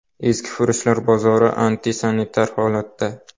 Eskifurushlar bozori antisanitar holatda.